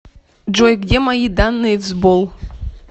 джой где мои данные в сбол